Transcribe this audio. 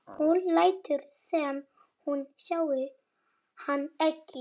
Hún lætur sem hún sjái hann ekki.